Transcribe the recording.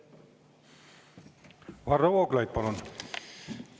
Varro Vooglaid, palun!